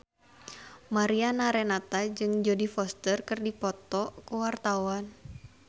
Mariana Renata jeung Jodie Foster keur dipoto ku wartawan